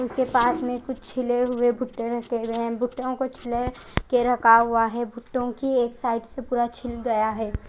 उसके पास में कुछ छिले हुए भुट्टे रखे हुए है भुटओ को छिले के रखा हुआ है भुट्टो की एक साइड से पूरा छिल गया है।